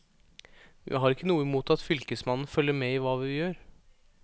Vi har ikke noe imot at fylkesmannen følger med i hva vi gjør.